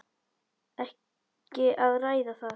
Ekki að ræða það.